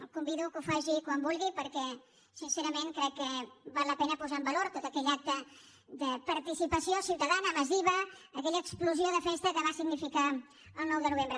el convido que ho faci quan vulgui perquè sincerament crec que val la pena posar en valor tot aquell acte de participació ciutadana massiva aquella explosió de festa que va significar el nou de novembre